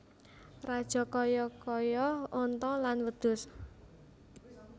Rajakaya kaya onta lan wedhus